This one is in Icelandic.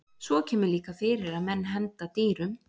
Svo kemur líka fyrir að menn henda dýrum.